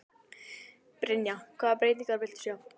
Brynja: Hvaða breytingar viltu sjá?